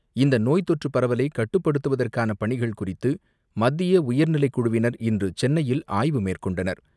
இந்தநோய் தொற்றுபரவலைகட்டுப்படுத்துவதற்கானபணிகள் குறித்துமத்தியஉயர்நிலைக்குழுவினர் இன்றுசென்னையில் ஆய்வு மேற்கொண்டனர்.